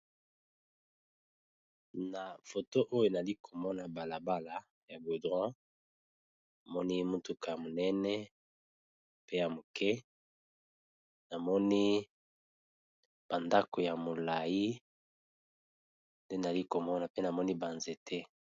Na foto oyo nali komona balabala ya goudron. Na moni mutuka monene pe ya moke. Na moni ba ndako ya molai. Nde nali ko mona pe na moni ba nzete.